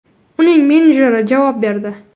Uning menejeri javob berdi.